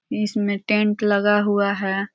इसमें टेंट लगा हुआ है।